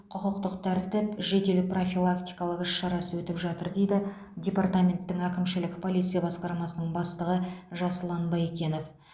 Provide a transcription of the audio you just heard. құқықтық тәртіп жедел профилактикалық іс шарасы өтіп жатыр дейді департаменттің әкімшілік полиция басқармасының бастығы жасұлан байекенов